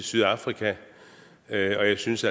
sydafrika og jeg synes